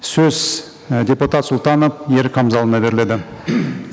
сөз і депутат сұлтанов ерік хамзаұлына беріледі